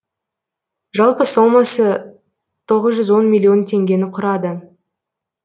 жалпы сомасы тоғыз жүз он миллион теңгені құрады